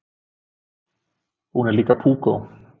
Hún er líka púkó.